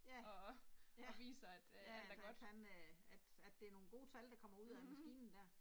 Ja, ja, ja ja, at han øh at at det er nogle gode tal der kommer ud af maskinen der